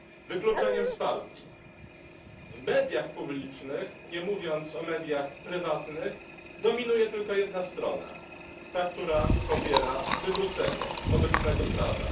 W mediach publicznych, nie mówiąc o mediach prywatnych, dominuje tylko jedna strona ta, która popiera wywrócenie obecnego prawa.